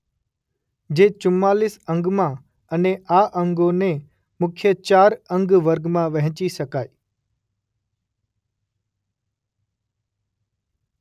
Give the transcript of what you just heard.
જે ચુમ્માલીસ અંગમાં અને આ અંગોને મુખ્ય ચાર અંગવર્ગમાં વહેંચી શકાય.